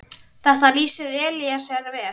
Þetta lýsir Elíeser vel.